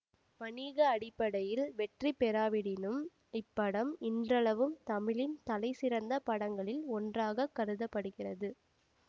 வணிக அடிப்படையில் வெற்றி பெறாவிடினும் இப்படம் இன்றளவும் தமிழின் தலை சிறந்த படங்களில் ஒன்றாக கருத படுகிறது